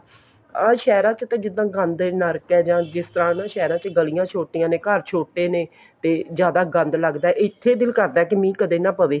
ਆਹ ਸ਼ਹਿਰਾਂ ਚ ਤੇ ਨਾ ਗੰਦ ਹੈ ਨਰਕ ਹੈ ਨਾ ਸਹਿਰਾਂ ਚ ਗਲੀਆਂ ਛੋਟੀਆਂ ਨੇ ਘਰ ਛੋਟੇ ਨੇ ਤੇ ਜ਼ਿਆਦਾ ਗੰਦ ਲੱਗਦਾ ਇੱਥੇ ਦਿਲ ਕਰਦਾ ਵੀ ਮੀਂਹ ਕਦੀ ਨਾ ਪਵੇ